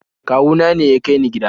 kawuna ne ya kai ni gida